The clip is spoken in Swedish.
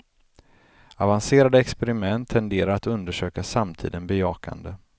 Avancerade experiment tenderar att undersöka samtiden bejakande.